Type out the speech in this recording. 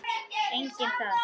Enginn þar.